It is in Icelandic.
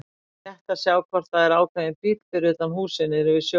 Rétt að sjá hvort það er ákveðinn bíll fyrir utan húsið niðri við sjóinn.